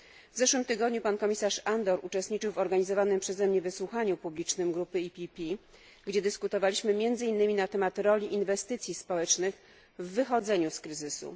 W zeszłym tygodniu komisarz Andor uczestniczył w organizowanym przeze mnie wysłuchaniu publicznym grupy PPE, gdzie dyskutowaliśmy między innymi na temat roli inwestycji społecznych w wychodzeniu z kryzysu.